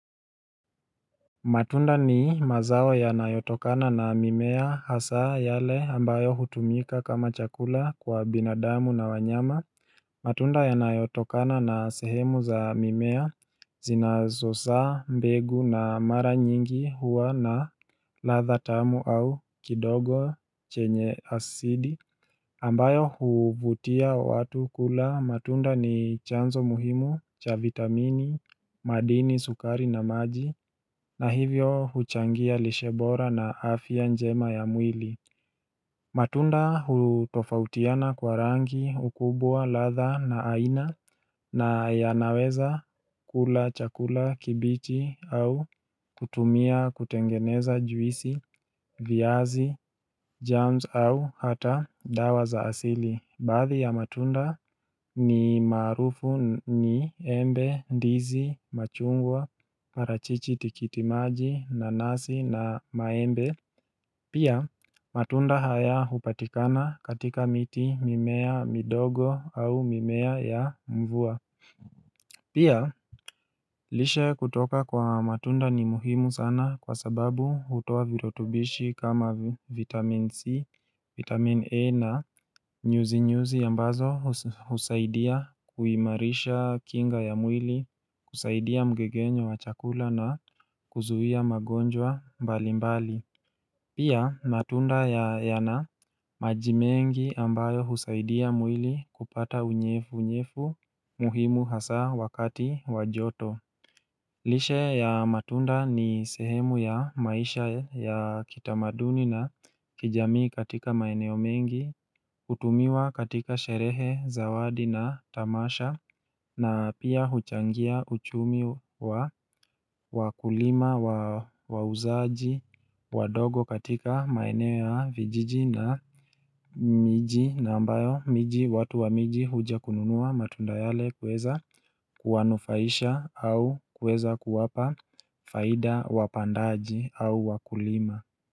Matunda ni mazao yanayotokana na mimea hasaa yale ambayo hutumika kama chakula kwa binadamu na wanyama matunda yanayotokana na sehemu za mimea zinazosaa mbegu na mara nyingi huwa na ladha tamu au kidogo chenye asidi ambayo huvutia watu kula matunda ni chanzo muhimu cha vitamini, madini, sukari na maji na hivyo huchangia lishe bora na afya njema ya mwili matunda hutofautiana kwa rangi ukubwa ladha na aina na yanaweza kula chakula kibichi au kutumia kutengeneza juisi, viazi, germs au hata dawa za asili Baadhi ya matunda ni maarufu ni embe, ndizi, machungwa, parachichi tikitimaji, nanasi na maembe Pia matunda haya hupatikana katika miti mimea midogo au mimea ya mvua Pia lishe kutoka kwa matunda ni muhimu sana kwa sababu hutoa virutubishi kama vitamin C, vitamin E na nyuzinyuzi ambazo husaidia kuimarisha kinga ya mwili, kusaidia mgegenyo wa chakula na kuzuia magonjwa mbali mbali Pia matunda yana maji mengi ambayo husaidia mwili kupata unyefu unyefu muhimu hasa wakati wa joto lishe ya matunda ni sehemu ya maisha ya kitamaduni na kijamii katika maeneo mengi, hutumiwa katika sherehe, zawadi na tamasha, na pia huchangia uchumi wa wakulima wauzaji, wadogo katika maeneo ya vijiji na miji na ambayo miji watu wa miji huja kununua matunda yale kueza kuwanufaisha au kueza kuwapa faida wapandaji au wakulima.